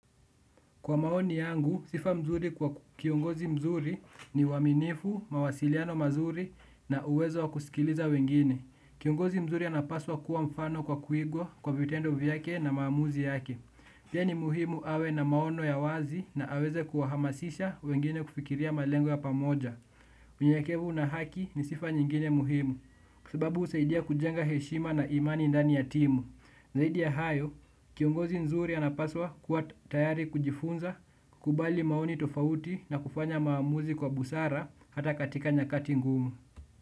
Kwa maoni yangu, sifa mzuri kwa kiongozi mzuri ni uwaminifu, mawasiliano mazuri na uwezo wa kusikiliza wengine. Kiongozi mzuri anapaswa kuwa mfano kwa kuigwa kwa vitendo vyake na maamuzi yake. Pia ni muhimu awe na maono ya wazi na aweze kuwahamasisha wengine kufikiria malengo ya pamoja. Unyenyekevu na haki ni sifa nyingine muhimu, sababu husaidia kujenga heshima na imani indani ya timu. Zaidi ya hayo, kiongozi nzuri anapaswa kuwa tayari kujifunza, kubali maoni tofauti na kufanya maamuzi kwa busara hata katika nyakati ngumu.